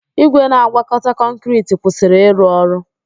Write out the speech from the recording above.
Igwe na-agwakọta kọnkịriti kwụsịrị ịrụ ọrụ.